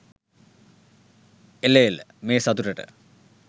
එල එල මේ සතුටට